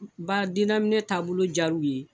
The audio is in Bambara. Ba dennaminɛ taabolo diya u ye